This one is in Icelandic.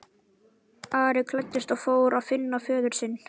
Ari klæddist og fór að finna föður sinn.